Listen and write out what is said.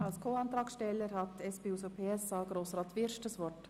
Als Co-Antragsteller hat Grossrat Wyrsch von der SP-JUSO-PSA-Fraktion das Wort.